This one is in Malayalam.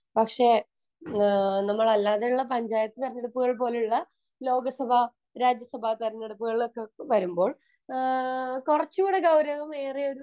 പക്ഷെ നമ്മുടെ നാട്ടിലെ പഞ്ചായത്തു തെരഞ്ഞെടുപ്പ് പോലുള്ള ലോകസഭാ രാജ്യ സഭ തെരഞ്ഞെടുപ്പുകളൊക്കെ വരുമ്പോൾ കുറച്ചുകൂടി ഗൌരവം ഏറെ